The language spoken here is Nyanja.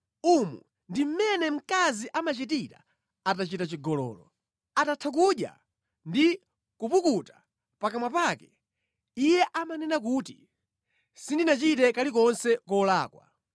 Umu ndi mʼmene mkazi amachitira atachita chigololo: Atatha kudya ndi kupukuta pakamwa pake iye amanena kuti “Sindinachite kalikonse kolakwa.”